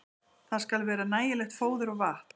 Þar skal vera nægilegt fóður og vatn.